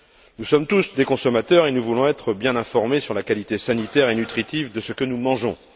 Nous sommes tous des consommateurs et nous voulons être bien informés sur la qualité sanitaire et nutritive de ce que nous mangeons.